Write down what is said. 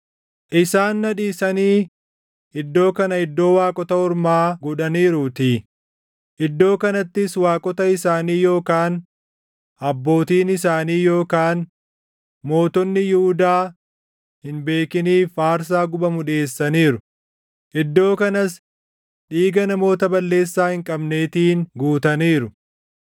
Isaan na dhiisanii iddoo kana iddoo waaqota ormaa godhaniiruutii; iddoo kanattis waaqota isaanii yookaan abbootiin isaanii yookaan mootonni Yihuudaa hin beekiniif aarsaa gubamu dhiʼeessaniiru; iddoo kanas dhiiga namoota balleessaa hin qabneetiin guutaniiru.